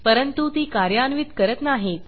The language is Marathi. परंतु ती कार्यान्वित करत नाहीत